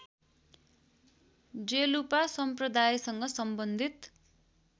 जेलूपा सम्प्रदायसँग सम्बन्धित‍